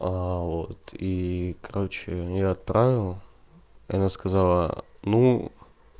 аа вот и короче я отправил и она сказала ну